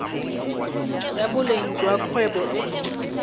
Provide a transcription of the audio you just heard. ya boleng jwa kgwebo e